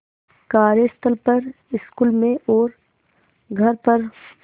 कार्यस्थल पर स्कूल में और घर पर